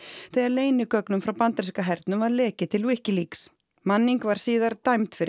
þegar leynigögnum frá bandaríska hernum var lekið til Wikileaks manning var síðar dæmd fyrir